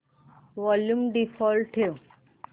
volume default ठेव